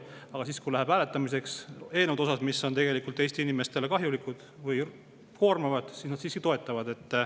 Aga kui läheb selliste eelnõude hääletamiseks, mis on tegelikult Eesti inimestele kahjulikud või koormavad, siis neid nad siiski toetavad.